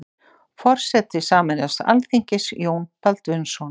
Forseti sameinaðs alþingis: Jón Baldvinsson.